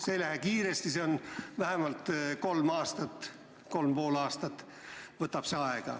See ei lähe kiiresti, see vähemalt kolm aastat või kolm ja pool aastat võtab aega.